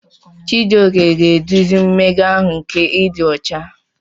Chijioke ga-eduzi mmega ahụ nke ịdị ọcha.